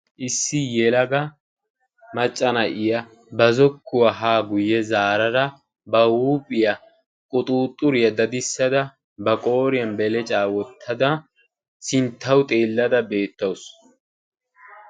issi yelaga macca na'iya ba zokkuwaa haa guyye zarada ba huuphiya quxuuxxuriya dadissada ba qooriyan belecaa wottada sinttawu xeellada beettawusu.